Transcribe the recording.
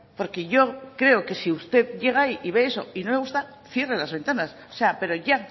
porque yo creo que si usted llega ahí y ve eso y no le gusta cierra las ventanas o sea pero ya